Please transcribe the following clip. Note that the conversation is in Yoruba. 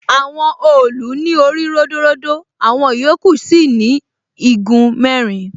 Àwọn òòlù ní orí ródóródó, àwọn ìyókù sì ni igun mẹ́rin.